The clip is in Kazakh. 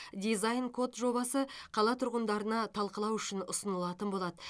дизайн код жобасы қала тұрғындарына талқылау үшін ұсынылатын болады